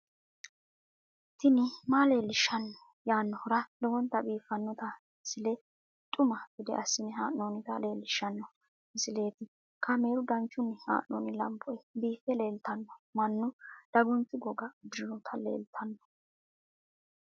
tini maa leelishshanno yaannohura lowonta biiffanota misile xuma gede assine haa'noonnita leellishshanno misileeti kaameru danchunni haa'noonni lamboe biiffe leeeltanno mannu dagunchu goga udirinoti leltanno